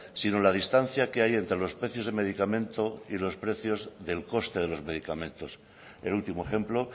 sino la distancia que hay entre los precios de medicamento y los precios del coste de los medicamentos el último ejemplo